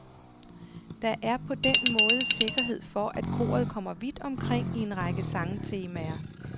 Der er på den måde sikkerhed for, at koret kommer vidt omkring i en række sangtemaer.